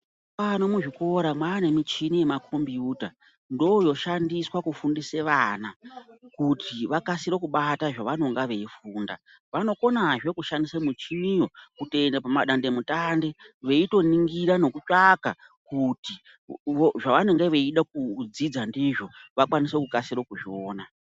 Mazuva ano muzvikora mwaanemichini yemakombiyuta ndooyoshandiswe kufundise vana kuti vakasire kubata zvavanonga veifunda. Vanokonazve kushandise michiniyo kutoenda pamadandemutande veitoningira nekutsvaka kuti zvavanonga veida kudzidza ndizvo vakwanise kukasire kuzviona.